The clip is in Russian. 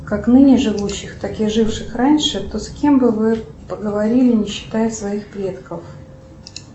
как ныне живущих так и живших раньше то с кем бы вы поговорили не считая своих предков